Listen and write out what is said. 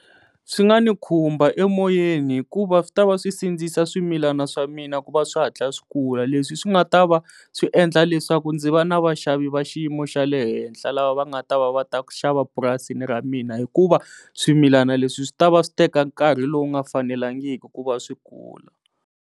Swi nga ni khumba emoyeni hikuva swi ta va swi sindzisa swimilana swa mina ku va swi hatla swi kula leswi swi nga ta va swi endla leswaku ndzi va na vaxavi va xiyimo xa le henhla lava va nga ta va va ta xava purasini ra mina hikuva swimilana leswi swi ta va swi teka nkarhi lowu nga fanelangiki ku va swi kula.